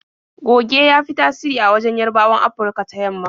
Goge ya fi tasiri a wajen Yarabawan Afurka ta yamma.